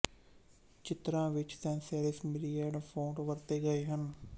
ਚਿੱਤਰਾਂ ਵਿੱਚ sans serif Myriad font ਵਰਤੇ ਗਏ ਹਨ